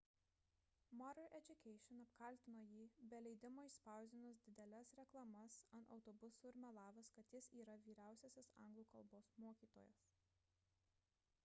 modern education apkaltino jį be leidimo išspausdinus dideles reklamas ant autobusų ir melavus kad jis yra vyriausiasis anglų kalbos mokytojas